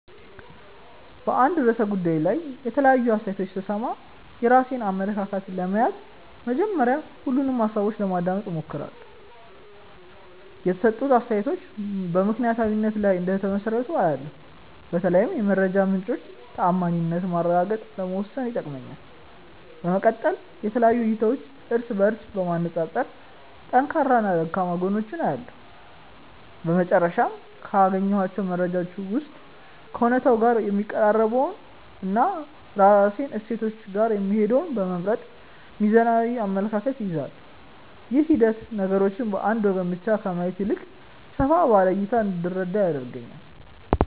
በአንድ ርዕሰ ጉዳይ ላይ የተለያዩ አስተያየቶችን ስሰማ፣ የራሴን አመለካከት ለመያዝ መጀመሪያ ሁሉንም ሃሳቦች ለማዳመጥ እሞክራለሁ። የተሰጡት አስተያየቶች በምክንያታዊነት ላይ እንደተመሰረቱ አያለው፤ በተለይም የመረጃ ምንጮቹን ተዓማኒነት ማረጋገጥ ለመወሰን ይጠቅመኛል። በመቀጠል የተለያዩ እይታዎችን እርስ በእርስ በማነፃፀር ጠንካራና ደካማ ጎናቸውን እለያለሁ። በመጨረሻም፣ ካገኘኋቸው መረጃዎች ውስጥ ከእውነታው ጋር የሚቀራረበውንና ከራሴ እሴቶች ጋር የሚሄደውን በመምረጥ ሚዛናዊ አመለካከት እይዛለሁ። ይህ ሂደት ነገሮችን በአንድ ወገን ብቻ ከማየት ይልቅ ሰፋ ባለ እይታ እንድረዳ ይረዳኛል።